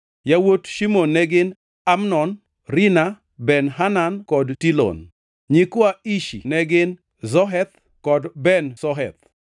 Yawuot Shimon ne gin: Amnon, Rina, Ben-Hanan kod Tilon. Nyikwa Ishi ne gin: Zoheth kod Ben-Zoheth.